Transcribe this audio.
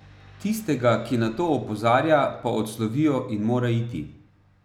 Tistega, ki na to opozarja, pa odslovijo in mora iti.